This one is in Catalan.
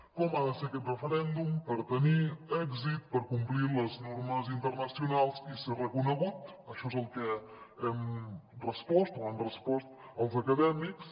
com ha de ser aquest referèndum per tenir èxit per complir les normes internacionals i ser reconegut això és el que hem respost o han respost els acadèmics